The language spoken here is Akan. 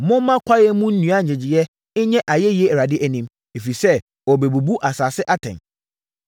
Momma kwaeɛm nnua nnyegyeeɛ nyɛ ayɛyie Awurade anim! Ɛfiri sɛ ɔrebɛbu asase atɛn.